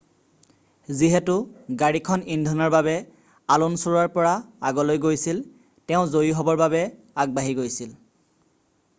যিহেতু গাড়ীখন ইন্ধনৰ বাবে আলুনছুৰ পৰা আগলৈ গৈছিল তেওঁ জয়ী হ'বৰ বাবে আগবাঢ়ি গৈছিল